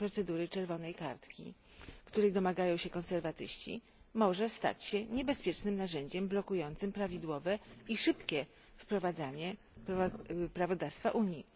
procedury czerwonej kartki, której domagają się konserwatyści, mogą stać się niebezpiecznym narzędziem blokującym prawidłowe i szybkie wprowadzanie prawodawstwa Unii.